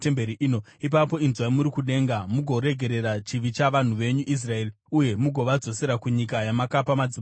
ipapo inzwai muri kudenga mugoregerera chivi chavanhu venyu Israeri, uye mugovadzosera kunyika yamakapa madzibaba avo.